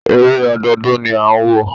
Eré ọdọọdún ni à ń wò.